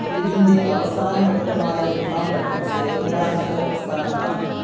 ഇതിൻ്റെ അവസാന ഘട്ടമായ മൂന്നാം ഘട്ടം സ്വാതന്ത്ര്യാനന്തര പ്രസ്ഥാനങ്ങളാണ്.